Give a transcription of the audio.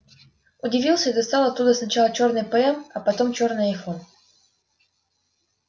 удивился и достал оттуда сначала чёрный пм а потом чёрный айфон